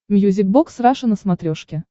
мьюзик бокс раша на смотрешке